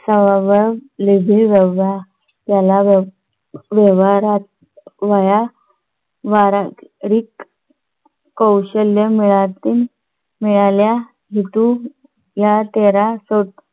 व्यावहारिक कौशल्य माहिती मिळाल्यास हेतू या तेरा